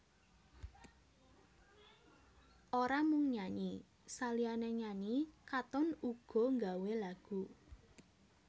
Ora mung nyanyi saliyané nyanyi Katon uga nggawé lagu